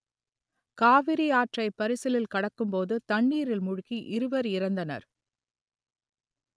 காவிரி ஆற்றை பரிசலில் கடக்கும்போது தண்ணீரில் மூழ்கி இருவர் இறந்தனர்